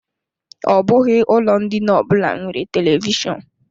Ọ bụghị ụlọ ndina ọbụla nwere televishọnụ.